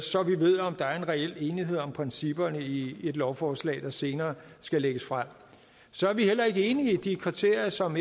så vi ved om der er en reel enighed om principperne i et lovforslag der senere skal lægges frem så er vi heller ikke enige i de kriterier som